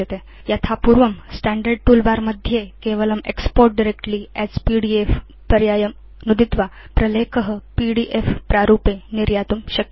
यथा पूर्वं standard toolbar मध्ये केवलं एक्स्पोर्ट् डायरेक्टली अस् पीडीएफ पर्यायं नुदित्वा प्रलेख पीडीएफ प्रारूपे निर्यातुं शक्य